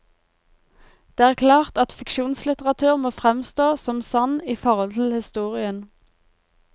Det er klart at fiksjonslitteratur må fremstå som sann i forhold til historien.